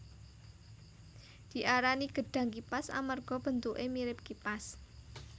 Diarani gedhang kipas amarga bentuké mirip kipas